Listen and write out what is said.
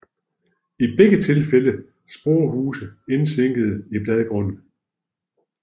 I begge tilfælde sporehuse indsænkede i bladgrunden